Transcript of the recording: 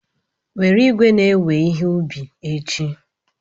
Were igwe na-ewe ihe ubi echi.